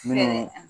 Minnu